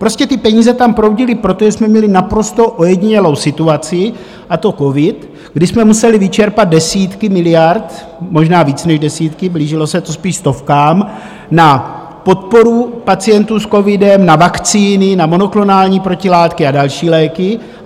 Prostě ty peníze tam proudily, protože jsme měli naprosto ojedinělou situaci, a to covid, kdy jsme museli vyčerpat desítky miliard, možná víc než desítky, blížilo se to spíše stovkám, na podporu pacientů s covidem, na vakcíny, na monoklonální protilátky a další léky.